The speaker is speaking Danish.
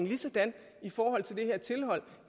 ligesådan